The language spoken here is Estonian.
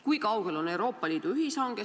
Kui kaugel on Euroopa Liidu ühishange?